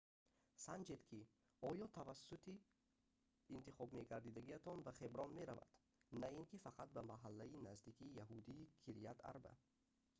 санҷед ки оё автобуси интихобмекардагиатон ба хеброн меравад на ин ки фақат ба маҳаллаи наздики яҳудии кирят арба